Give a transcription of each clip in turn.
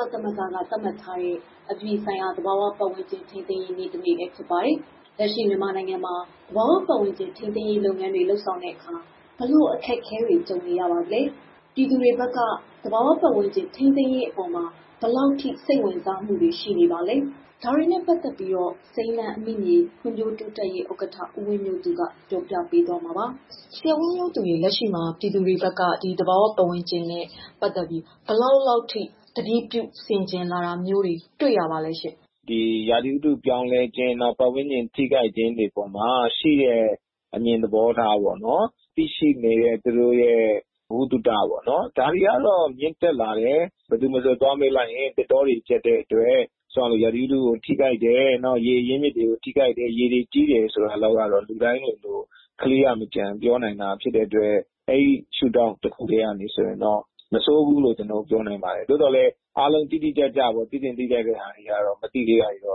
ော့ ကုလသမဂ္ဂ သတ်မှတ်ထားတဲ့ အပြည်ပြည်ဆိုင်ရာ သဘာဝပတ်ဝန်းကျင် ထိန်းသိမ်းရေးနေ့ ဖြစ်ပါတယ်။ လက်ရှိမြန်မာနိုင်ငံမှာ သဘာဝပတ်ဝန်းကျင် ထိန်းသိမ်းမှု လုပ်ငန်းတွေမှာ ဘယ်လိုစိန်ခေါ်မှုတွေနဲ့ ရင်ဆိုင်နေရပါသလဲ၊ ပြည်သူတွေဘက်ကရော ဘယ်လောက်ထိ စိတ်ဝင်စားမှု ရှိလာသလဲဆိုတာတွေကို စိမ်းလန်းအမိမြေ ဖွံ့ဖြိုးတိုးတက်ရေးအသင်း ဥက္ကဋ္ဌ ဦးဝင်းမျိုးသူက ပြောပြပေးမှာပါ။ ဒီအကြောင်း ဗွီအိုအေမြန်မာပိုင်းသတင်းထောက် မမေခက တင်ပြပေးပါမယ်။ လက်ရှိမှာ ပြည်သူတွေဘက်က သဘာဝပတ်ဝန်းကျင်နဲ့ ပတ်သက်ပြီး ဘယ်လောက်ထိ ဂရုပြုထိန်းသိမ်းလာတာ တွေ့ရပါသလဲ။ ရာသီဥတုပြောင်းလဲခြင်း၊ နောက် ပတ်ဝန်းကျင်ထိခိုက်ခြင်းတွေပေါ်မှာ ရှိတဲ့ အမြင်သဘောထားပေါ့နော်... သိရှိနေတဲ့ သူတို့ရဲ့ ဗဟုသုတပေါ့နော်... ဒါတွေက မြင့်တက်လာတယ်၊ ဘယ်သူမဆိုသွားမေးလိုက်ရင် သစ်တောတွေ ပျက်တဲ့အတွက် ရာသီဥတုကို ထိခိုက်တယ်၊ နောက် ရေအရင်းမြစ်ကို ထိခိုက်တယ်၊ ရေတွေကြီးတယ်ဆိုတာလောက်ကတော့ လူတိုင်းလိုလို ကလေးက အစ ပြောနိုင်လာတာဖြစ်တဲ့အတွက် ဒီအပိုင်းမှာတော့ မဆိုးဘူးပြောနိုင်ပါတယ်။ သို့ပေမဲ့ အားလုံးသိသင့်သိထိုက်တာတွေကတော့သိဖို့ အများကြီးရှိနေပါသေးတယ်။ လ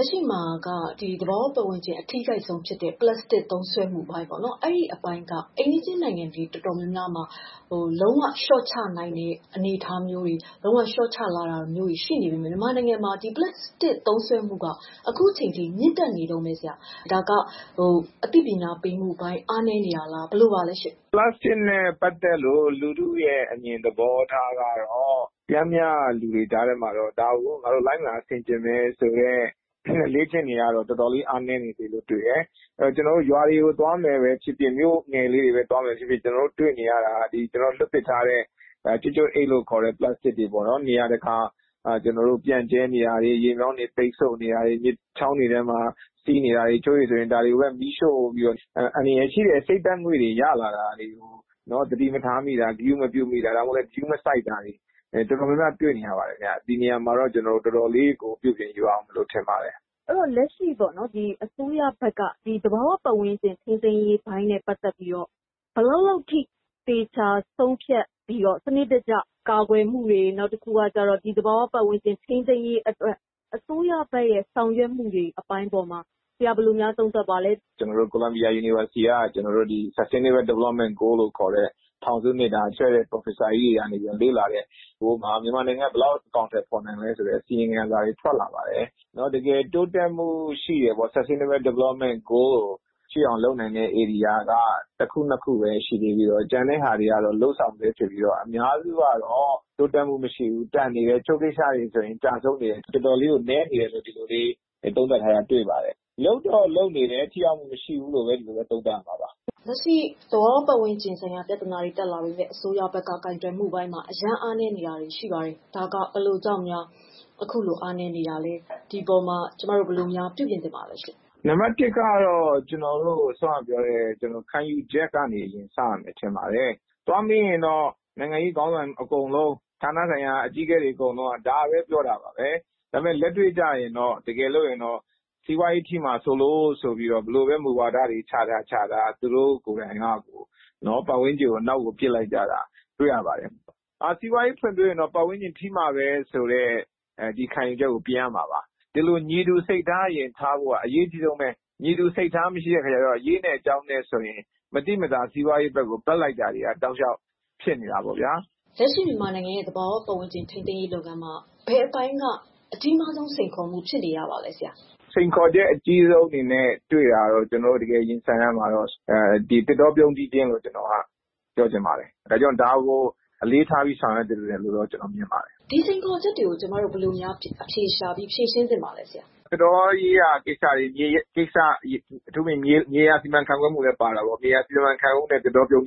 က်ရှိမှာ သဘာဝပတ်ဝန်းကျင်ထိခိုက်ဆုံးဖြစ်တဲ့ ပလတ်စတစ်သုံးစွဲမှုပိုင်းက အိမ်နီးချင်းနိုင်ငံ တော်တော်များများလျှော့ချလာချိန်မှာ မြန်မာနိုင်ငံမှာ ဒီပလတ်စတစ် သုံးစွဲမှုက လျှော့ချနိုင်တာ မရှိသေးဘူး။ ဒါကဘာကြောင့်လဲ အသိပညာပေးတာ အားနည်းနေပါလား။ သုံးစွဲမှုအပေါ်ဆရာဘယ်လို သုံးသပ်ပါလဲ။ ဒီပလတ်စတစ်နဲ့ ပတ်သတ်တဲ့ လူထုရဲ့အမြင်သဘောထားကတော့ ပျမ်းမျှလူတွေကြားထဲမှာတော့ ဒါကို ငါတို့ လိုက်နာဆင်ခြေမယ်ဆိုတဲ့ အလေ့အကျင့်တွေကတော်တော်လေး အားနည်းနေတယ်။ ကျနော်တို့ နယ်တွေသွားရင် လမ်းတွေပေါ်မှာ စွန့်ပစ်ထားတဲ့ ပလက်စတစ်တွေ ပြန့်ကြဲနေတာ၊ ရေမြောင်းတွေ ပိတ်နေတာ၊ မြစ်ချောင်းတွေထဲစီးနေတာ၊ တချို့ဆို ဒါတွေကို မီးရှို့တာ အန္တရာယ်ရှိတဲ့ အဆိပ်ဓါတ်ငွေ့တွေကို သတိမထားမိတာ သတိမပြုမိတာ၊ ဂရုမစိုက်ဘဲ လုပ်နေတာတွေက တော်တော်လေးတွေ့နေရတယ်။ ဒီအပေါ်မှာ ကျနော်တို့ တော်တော်လေးပြုပြင်ယူရဦးမယ် ထင်ပါတယ်။ လက်ရှိအစိုးရဘက်က သဘာဝပတ်ဝန်းကျင်ထိန်းသိမ်းရေး လုပ်တာမှာ ဘယ်လောက်လောက်ထိ သတိထားလုပ်ဆောင်တာ၊ ဒီအပေါ်သေချာဂရုတစိုက် လုပ်ဆောင်တာမျိုးတွေရှိပါသလဲ။ ကိုလံဘီယာ တက္ကသိုလ်ကနေထုတ်တဲ့ သဘာဝပတ်ဝန်းကျင်ဆိုင်ရာနဲ့ ပတ်သတ်လို့ ထောင်စု နှစ်အတွက် လေ့လာတဲ့ ပရော်ဖက်ဆာတွေရဲ့ အစီရင်ခံစာထုတ်ပြန်ချက်တခု ရက်ပိုင်းတွင်းထွက်ခဲ့တာ ရှိပါတယ်။ တကယ်တိုးတက်မှုရှိတဲ့အောင် လုပ်ဆောင်နိုင်တာက လုပ်ငန်း ၁ ခု၊ ၂ ခုပဲ ရှိပါတယ်။ ကျန်တာက လုပ်ဆောင်ဆဲ အများစုကတော့ တိုးတက်မှုမရှိတာ၊ တချို့ဆို ကျဆုံးတာတွေရှိတယ်လို့ ပြောထားတာရှိပါတယ်။ ဒီတော့ လုပ်တော့လုပ်နေတယ်။ ထိရောက်မှု မရှိဘုူးပြောရမှာပါ။ လက်ရှိသဘာဝပတ်ဝန်းကျင်နဲ့ ပတ်သတ်တဲ့ ပြဿနာတွေမှာ အစိုးရကိုင်တွယ်မှုပိုင်း အားနည်းတယ်လို့ ဝေဖန်မှုတွေ ရှိနေတယ်။ ဘယ်လိုကြောင့်အားနည်းတာလဲ ဒီအပေါ်ဘယ်လို ပြုပြင်ပြောင်းလဲရမလဲ။ ခံယူချက်ကနေအရင်စရမယ်ထင်ပါတယ်။ သွားမေးရင်တော့ နိုင်ငံရေးခေါင်းဆောင်အကုန်လုံး ဌာနဆိုင်ရာတွေအကုန် ဒါပဲပြောတယ်။ တကယ်လက်တွေ့ကျရင် စီးပွားရေးထိမှာ စိုးလို့ ဘယ်လိုမူဝါဒတွေပဲ ချထားချထား သဘာဝပတ်ဝန်းကျင်ကို နောက်ကို ပစ်ပယ်လိုက်တာပါပဲ။ စီးပွားရေးဖွံဖြိုးလိုရင်တော့ ပတ်ဝန်းကျင် ထိမှာပဲဆိုတဲ့ ခံယူချက်ကို ပြင်ရမှာပါ။ ညီတူစိတ်ထားထားဖို့ အရေးကြီးဆုံးပါပဲ။ ညီတူစိတ်ထား မထားတော့ အရေးရယ်၊ အကြောင်းရယ် စီးပွားရေးဘက်ကို ဘက်လိုက်တာ ရှိနေတာပေါ့ဗျာ။ လက်ရှိမြန်မာနိုင်ငံရဲ့သဘာဝပတ်ဝန်းကျင်ထိန်းသိမ်းရေးမှာ ဘယ်လိုစိန်ခေါ်မှုက အကြီးမားဆုံး စိန်ခေါ်မှုပါလဲ။ စိန်ခေါ်ချက်အကြီးဆုံးအနေနဲ့ ပြောပါဆိုရင် ကျနော်တို့ ရင်ဆိုင်ရတာက သစ်တောပြုန်းတီးခြင်းလို့ ပြောချင်ပါတယ်။ ဒါကို အလေးထားဆောင်ရွက်ဖို့ တိုက်တွန်းချင်ပါတယ်။ ဒီလိုစိန်ခေါ်ချက်တွေကို ကျမတို့ ဘယ်လို အဖြေရှာ ဖြေရှင်းသင့်ပါလဲ ဆရာ။ သစ်တောရေးရာကိစ္စတွေ အထူးသဖြင့် မြေယာစီမံခန့်ခွဲရေးကိစ္စတွေလည်းပါတာပေါ့။ မြေယာစီမံခန့်ခွဲတာနဲ့ သစ်တောပြုန်း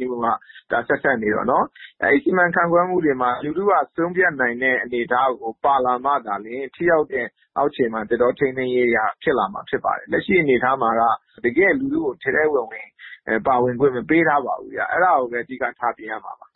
တာ ဆက်စပ်နေတော့လေ။ အဲဒီစီမံခန့်ခွဲမှုမှာ လူထုက ဆုံးဖြတ်နိုင်တဲ့ အနေအထားကို ပါလာမှသာလျှင် ဒီအပိုင်းကို အောက်ခြေမှာ ထိရောက်တဲ့ သစ်တောထိန်းသိမ်းတာတွေ ဖြစ်လာမှာဖြစ်တယ်။ လက်ရှိအနေအထားမှာက တကယ့်လူထုကို ထဲထဲဝင်ဝင် ပါဝင်ခွင့်မပေးထားပါဘူးဗျ။ အဲဒါကိုပဲ အဓိကထားပြင်ရမှာပါ